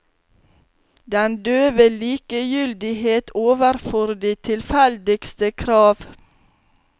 Den døve likegyldighet overfor de tilfeldigste krav.